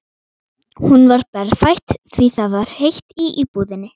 Hún var berfætt því það var heitt í íbúðinni.